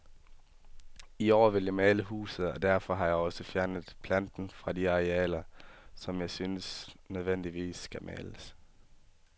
I år vil jeg male huset, og derfor har jeg også fjernet planten fra de arealer, som jeg synes nødvendigvis skal males.